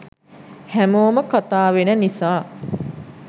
හැමෝම කතා වෙන නිසා